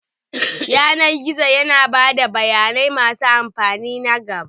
Yanar gizo yana ba da bayanai masu amfani na gaba.